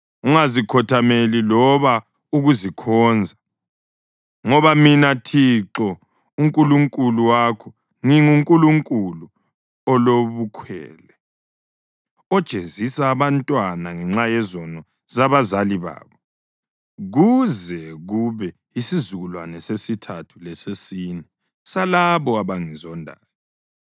Ungazikhothameli loba ukuzikhonza; ngoba mina Thixo uNkulunkulu wakho nginguNkulunkulu olobukhwele, ojezisa abantwana ngenxa yezono zabazali babo kuze kube yisizukulwane sesithathu lesesine salabo abangizondayo,